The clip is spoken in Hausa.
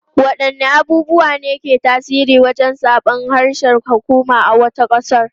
Wadanne abubuwa ne ke tasiri wajen zabar harshen hukuma a wata kasa?